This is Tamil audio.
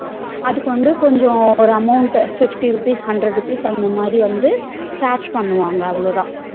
அதுக்குவந்து கொஞ்சம் ஒரு amount fifty rupees, hundred rupees அந்தமாதிரி வந்து charge பண்ணுவாங்க அவ்ளோதா